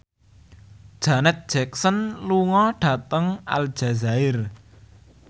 Janet Jackson lunga dhateng Aljazair